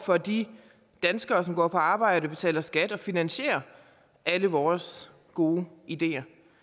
for de danskere som går på arbejde betaler skat og finansierer alle vores gode ideer